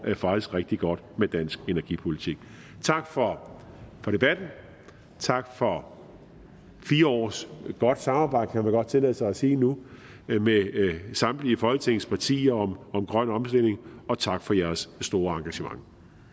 rigtig godt med dansk energipolitik tak for debatten tak for fire års godt samarbejde kan man godt tillade sig at sige nu med samtlige folketingets partier om om grøn omstilling og tak for jeres store engagement